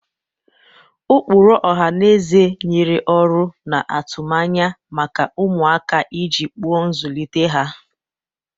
Ụkpụrụ ọha na eze nyere ọrụ na atụmanya maka ụmụaka iji kpuo nzụlite ha.